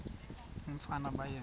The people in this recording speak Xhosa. umfana baye bee